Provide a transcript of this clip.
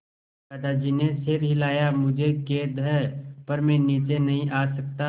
दादाजी ने सिर हिलाया मुझे खेद है पर मैं नीचे नहीं आ सकता